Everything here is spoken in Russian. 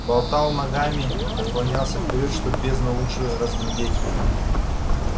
болтал ногами наклонялся вперёд чтобы бездну лучше разглядеть